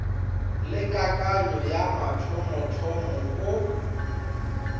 le kakanyo ya mathomothomo o